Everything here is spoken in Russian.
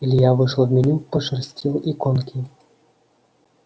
илья вышел в меню пошерстил иконки